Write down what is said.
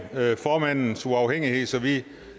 formandens uafhængighed så vi